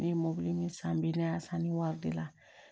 Ne ye mɔbili ni san bɛ ne y'a san ni wari de la